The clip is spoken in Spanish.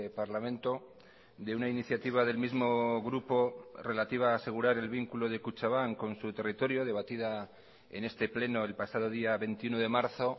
parlamento de una iniciativa del mismo grupo relativa a asegurar el vinculo de kutxabank con su territorio debatida en este pleno el pasado día veintiuno de marzo